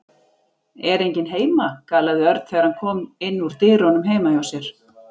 Er enginn heima? galaði Örn þegar hann kom inn úr dyrunum heima hjá sér.